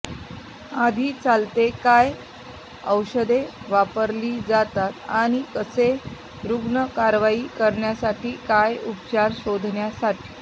आधी चालते काय औषधे वापरली जातात आणि कसे रुग्ण कारवाई करण्यासाठी काय उपचार शोधण्यासाठी